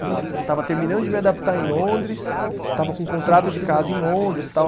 Estava terminando de me adaptar em Londres, estava com um contrato de casa em Londres e tal.